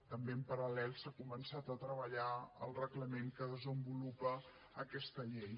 també en paral·lel s’ha començat a treballar el reglament que desenvolupa aquesta llei